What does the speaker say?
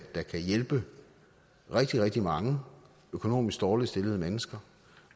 der kan hjælpe rigtig rigtig mange økonomisk dårligt stillede mennesker